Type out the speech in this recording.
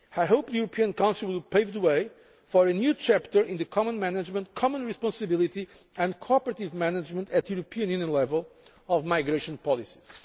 like this. I hope the European Council will pave the way for a new chapter in the common management, common responsibility and cooperative management at European Union level of migration